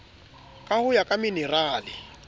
ka ho ya ka minerale